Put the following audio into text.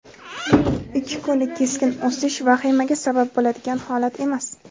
ikki kunlik keskin o‘sish vahimaga sabab bo‘ladigan holat emas.